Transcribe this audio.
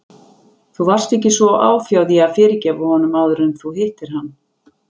Þú varst ekki svo áfjáð í að fyrirgefa honum áður en þú hittir hann.